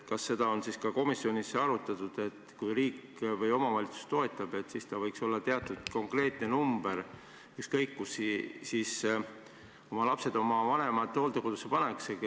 Kas seda on komisjonis arutatud, et kui riik või omavalitsus toetab, kas see võiks olla teatud konkreetne summa, ükskõik kus lapsed oma vanemad hooldekodusse panevad?